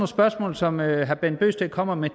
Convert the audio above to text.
spørgsmål som herre bent bøgsted kommer med